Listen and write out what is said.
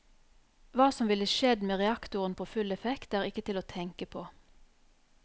Hva som ville skjedd med reaktoren på full effekt, er ikke til å tenke på.